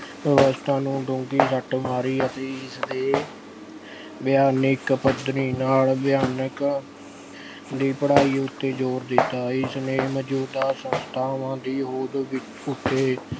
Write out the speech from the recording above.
ਵਿਵਸਥਾ ਨੂੰ ਡੂੰਗੀ ਸੱਟ ਮਾਰੀ ਅਤੇ ਇਸਦੇ ਵਿਗਿਆਨਿਕ ਪੱਧਰ ਨਾਲ ਵਿਗਿਆਨ ਦੀ ਪੜ੍ਹਾਈ ਉੱਤੇ ਜ਼ੋਰ ਦਿੱਤਾ ਇਸਨੇ ਮੌਜ਼ੂਦਾ ਸੰਸਥਾਵਾਂ ਦੀ ਹੋਂਦ ਵੀ ਅਹ ਉੱਤੇ